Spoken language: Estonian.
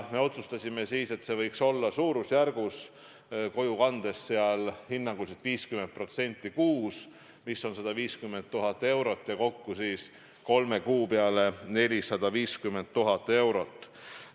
Me otsustasime siis, et see võiks kojukandes olla hinnanguliselt suurusjärgus 50% kuus, mis on 150 000 eurot, kokku kolme kuu peale 450 000 eurot.